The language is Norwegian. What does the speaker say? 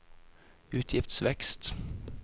utgiftsvekst